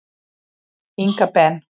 Inga Ben.